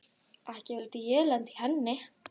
Ekki vildi ég lenda í henni!